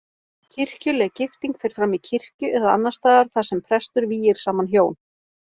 Kirkjuleg gifting fer fram í kirkju eða annars staðar þar sem prestur vígir saman hjón.